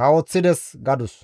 kawoththides» gadus.